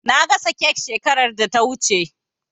Na gasa kek shekarar da ta wuce.